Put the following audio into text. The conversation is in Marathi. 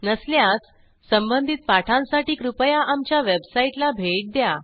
नसल्यास संबंधित पाठांसाठी कृपया आमच्या वेबसाईटला भेट द्या